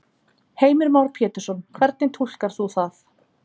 Heimir Már Pétursson: Hvernig túlkar þú það?